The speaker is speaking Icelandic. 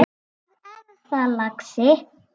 Hvað er það, lagsi?